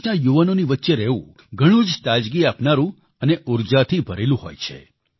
દેશના યુવાનોની વચ્ચે રહેવું ઘણું જ તાજગી આપનારું અને ઉર્જાથી ભરેલું હોય છે